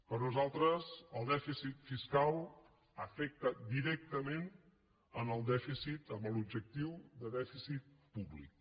per nosaltres el dèficit fiscal afecta directament al dèficit a l’objectiu de dèficit públic